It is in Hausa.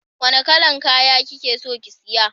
Wanna kalan kaya kikeso ki siya?